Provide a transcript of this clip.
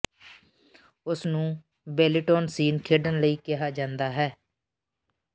ਉਸ ਨੂੰ ਬੇਲੀਟੋਨ ਸੀਨ ਖੇਡਣ ਲਈ ਕਿਹਾ ਜਾਂਦਾ ਹੈ